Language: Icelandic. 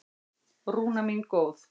Rúna mín góð.